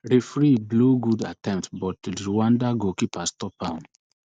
referee blow good attempt but driwanda goalkeeper stop am